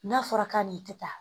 N'a fɔra k'a nin tɛ taa